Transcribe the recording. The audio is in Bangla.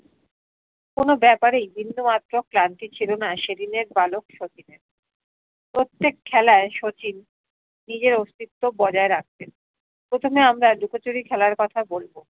কোনো ব্যাপারেই বিন্দু মাত্র ক্লান্তি ছিলো না সেই দিনের বালক শচীনের প্রত্যেক খেলায় শচীন নিজে অস্তিত্ব বজায় রাখতেন প্রথমে আমরা লুকোচুরি খেলার কথা বলবো